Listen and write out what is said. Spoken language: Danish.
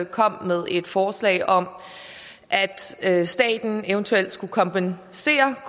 kom med et forslag om at staten eventuelt skulle kompensere